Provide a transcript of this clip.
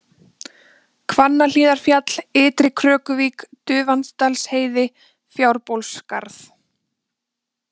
Hvannahlíðarfjall, Ytri-Krökuvík, Dufandalsheiði, Fjárbólsskarð